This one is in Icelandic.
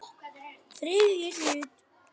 Þriðji hluti